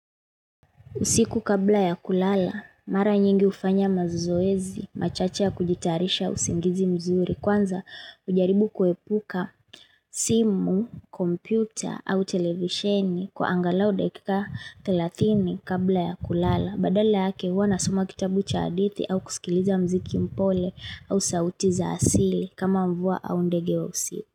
Usiku kabla ya kulala, mara nyingi hufanya mazoezi, machache ya kujitarisha usingizi mzuri, kwanza hujaribu kuepuka simu, kompyuta au televisheni kwa angalau dakika thelathini kabla ya kulala. Badala yake huwa nasoma kitabu cha hadithi au kusikiliza muziki mpole au sauti za asili kama mvua au ndege wa usiku.